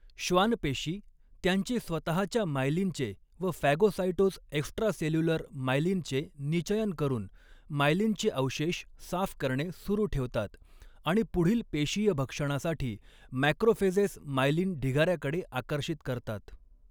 श्वान पेशी त्यांचे स्वतःच्या मायलिनचे व फॅगोसाइटोज एक्स्ट्रासेल्युलर मायलिनचे निचयन करून मायलिनचे अवशेष साफ करणे सुरू ठेवतात आणि पुढील पेशीय भक्षणासाठी मॅक्रोफेजेस, मायलिन ढिगाऱ्याकडे आकर्षित करतात.